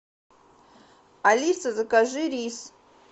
алиса закажи рис